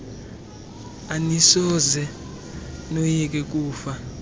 anisoze noyike kufa